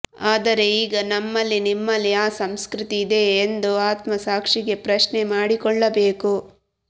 ಆದರೆ ಈಗ ನಮ್ಮಲ್ಲಿ ನಿಮ್ಮಲ್ಲಿ ಆ ಸಂಸ್ಕೃತಿ ಇದಿಯಾ ಎಂದು ಆತ್ಮಸಾಕ್ಷಿಗೆ ಪ್ರಶ್ನೆ ಮಾಡಿಕೊಳ್ಳಬೇಕು